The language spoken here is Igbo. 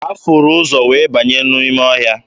Ha furu ụzọ wee banye n'ime ọhịa.